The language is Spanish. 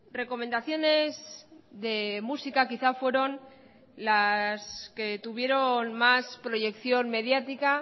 recomendaciones de música quizá fueron las que tuvieron más proyección mediática